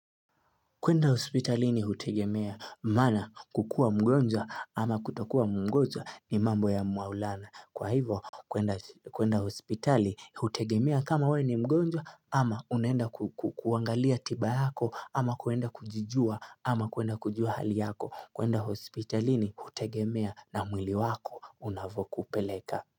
Kwenda hospitalini hutegemea, maana kukuwa mgonjwa ama kutakuwa mgonjwa ni mambo ya maulana. Kwa hivo kwenda hospitali hutegemea kama wewe ni mgonjwa ama unaenda kuangalia tiba yako ama kwenda kujijua ama kwenda kujua hali yako. Kwenda hospitalini hutegemea na mwili wako unavyo kupeleka.